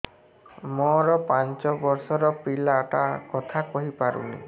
ମୋର ପାଞ୍ଚ ଵର୍ଷ ର ପିଲା ଟା କଥା କହି ପାରୁନି